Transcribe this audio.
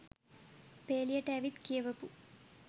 පේලියට ඇවිත් කියවපු